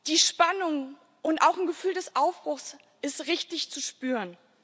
Die Spannung und auch ein Gefühl des Aufbruchs sind richtig zu spüren.